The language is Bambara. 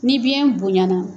Ni biyɛn bonɲana.